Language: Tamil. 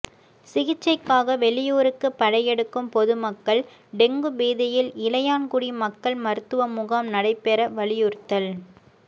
சிகிச்சைக்காக வெளியூருக்கு படையெடுக்கும் பொதுமக்கள் டெங்கு பீதியில் இளையான்குடி மக்கள் மருத்துவமுகாம் நடைபெற வலியுறுத்தல்